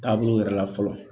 Taabolo wɛrɛ la fɔlɔ